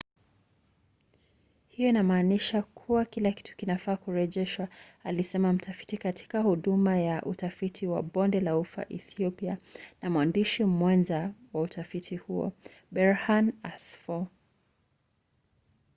hiyo inammanisha kuwa kila kitu kinafaa kurejeshwa alisema mtafiti katika huduma ya utafiti wa bonde la ufa ethiopia na mwandishi mwenza wa utafiti huo berhane asfaw